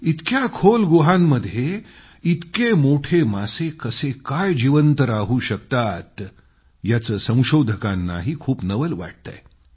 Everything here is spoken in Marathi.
इतक्या खोल गुहांमध्ये इतके मोठे मासे कसे काय जीवंत राहू शकतात याचं संशोधकांनाही खूप नवल वाटतंय